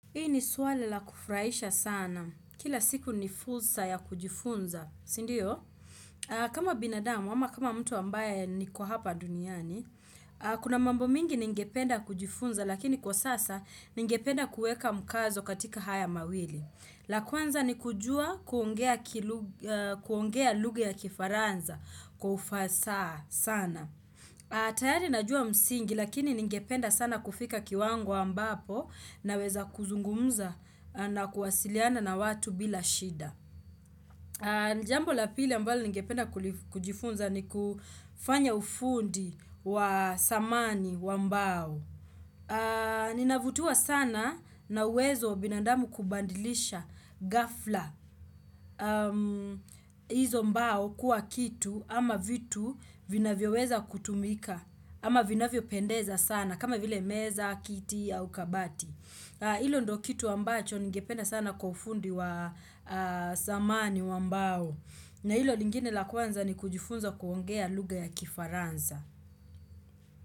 Hii ni swali la kufuraisha sana. Kila siku ni fursa ya kujifunza, sindio? Kama binadamu, ama kama mtu ambaye niko hapa duniani, kuna mambo mingi ningependa kujifunza, lakini kwa sasa ningependa kueka mkazo katika haya mawili. La kwanza ni kujua kuongea lugha ya kifaranza kwa ufasaha sana. Tayari najua msingi lakini ningependa sana kufika kiwango ambapo naweza kuzungumza na kuwasiliana na watu bila shida. Jambo la pili ambayo ningependa kujifunza ni kufanya ufundi wa samani wa mbao. Ninavutiwa sana na uwezo wa binandamu kubandilisha gafla. Izo mbao kuwa kitu ama vitu vinavyo weza kutumika ama vinavyo pendeza sana kama vile meza, kiti au kabati Ilo ndo kitu ambacho ningependa sana kwa ufundi wa samani wa mbao na ilo lingine la kwanza ni kujifunza kuongea lugha ya kifaranza.